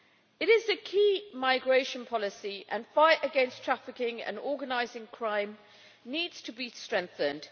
It is a key migration policy, and the fight against trafficking and organised crime needs to be strengthened.